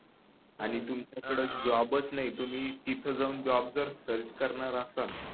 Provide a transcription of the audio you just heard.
आणि तुमच्याकडे जॉब च नाही तुम्ही तिथ जाऊन जॉब जर सर्च करणार असाल